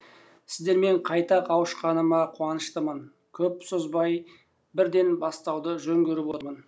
сіздермен қайта қауышқаныма қуаныштымын көп созбай бірден бастауды жөн көріп отырмын